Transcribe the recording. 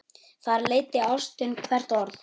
Þar leiddi ástin hvert orð.